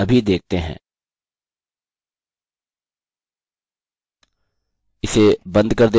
ठीक है तो चलिए इसे अभी देखते हैं इसे बंद कर देते हैं